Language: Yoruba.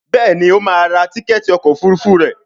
Béèni o má rà rà Tíkẹ́ẹ̀tì ọkọ̀ òfurufú rẹ.